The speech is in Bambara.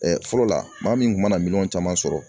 fɔlɔ la maa min kun mana minɛn caman sɔrɔ